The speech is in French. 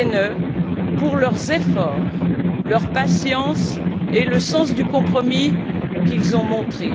Lehne pour leurs efforts, leur patience et le sens du compromis qu'ils ont montré.